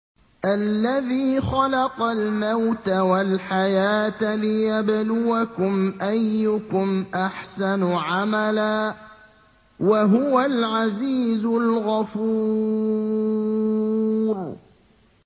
الَّذِي خَلَقَ الْمَوْتَ وَالْحَيَاةَ لِيَبْلُوَكُمْ أَيُّكُمْ أَحْسَنُ عَمَلًا ۚ وَهُوَ الْعَزِيزُ الْغَفُورُ